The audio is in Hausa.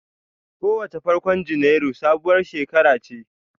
Kowace farkon Janairu sabuwar shekara ce.